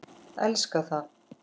Elska það.